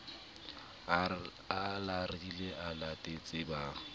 a larile a latetse ba